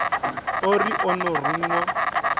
o ri o no ruṅwa